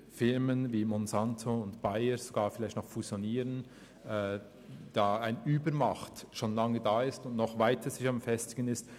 Grosse Unternehmen wie Monsanto und Bayer, die vielleicht sogar noch fusionieren, besitzen eine Übermacht, die sich weiter festigt.